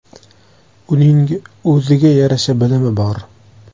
Uning o‘ziga yarasha bilimi bor.